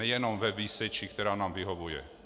Nejenom ve výseči, která nám vyhovuje.